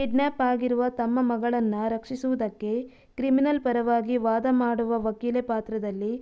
kidnap ಆಗಿರುವ ತಮ್ಮ ಮಗಳನ್ನ ರಕ್ಷಿಸುವುದಕ್ಕೆ ಕ್ರಿಮನಲ್ ಪರವಾಗಿ ವಾದ ಮಾಡುವ ವಕೀಲೆ ಪಾತ್ರದಲ್ಲಿ